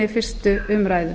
fyrstu umræðu